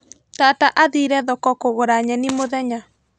Tata athire thoko kũgũra nyeni mũthenya.